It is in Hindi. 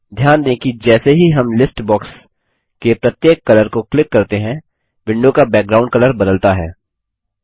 ध्यान दें कि जैसे ही हम लिस्ट बॉक्स के प्रत्येक कलर को क्लिक करते हैं विंडो का बैकग्गाउंड कलर बदलता है